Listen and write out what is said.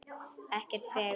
Ekkert fegurra, ekkert sælla.